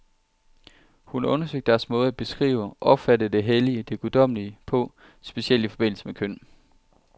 Hun har undersøgt deres måde at beskrive, opfatte det hellige, det guddommelige på, specielt i forbindelse med køn.